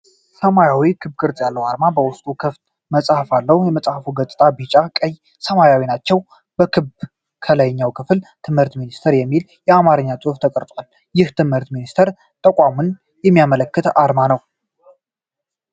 ሰማያዊ ክብ ቅርጽ ያለው አርማ በውስጡ ክፍት መጽሐፍ አለው። የመጽሐፉ ገጾች ቢጫ፣ ቀይና ሰማያዊ ናቸው። በክቡ የላይኛው ክፍል "ትምህርት ሚኒስቴር" የሚል የአማርኛ ጽሑፍ ተቀርጿል። ይህም የትምህርት ሚኒስቴር ተቋምን የሚያመለክት አርማ ነው።